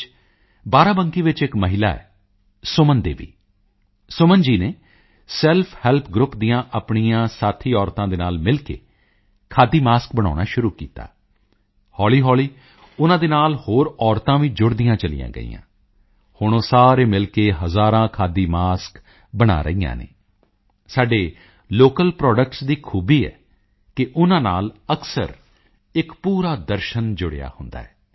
ਵਿੱਚ ਬਾਰਾਬੰਕੀ ਵਿੱਚ ਇੱਕ ਮਹਿਲਾ ਹੈ ਸੁਮਨ ਦੇਵੀ ਸੁਮਨ ਜੀ ਨੇ ਸੈਲਫ ਹੈਲਪ ਗਰੁੱਪ ਦੀਆਂ ਆਪਣੀਆਂ ਸਾਥੀ ਔਰਤਾਂ ਦੇ ਨਾਲ ਮਿਲ ਕੇ ਖਾਦੀ ਮਾਸਕ ਬਣਾਉਣਾ ਸ਼ੁਰੂ ਕੀਤਾ ਹੌਲ਼ੀਹੌਲ਼ੀ ਉਨ੍ਹਾਂ ਦੇ ਨਾਲ ਹੋਰ ਔਰਤਾਂ ਵੀ ਜੁੜਦੀਆਂ ਚਲੀਆਂ ਗਈਆਂ ਹੁਣ ਉਹ ਸਾਰੇ ਮਿਲ ਕੇ ਹਜ਼ਾਰਾਂ ਖਾਦੀ ਮਾਸਕ ਬਣਾ ਰਹੀਆਂ ਹਨ ਸਾਡੇ ਲੋਕਲ ਪ੍ਰੋਡਕਟਸ ਦੀ ਖੂਬੀ ਹੈ ਕਿ ਉਨ੍ਹਾਂ ਨਾਲ ਅਕਸਰ ਇੱਕ ਪੂਰਾ ਦਰਸ਼ਨ ਜੁੜਿਆ ਹੁੰਦਾ ਹੈ